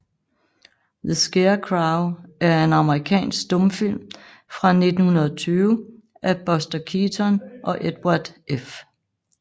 The Scarecrow er en amerikansk stumfilm fra 1920 af Buster Keaton og Edward F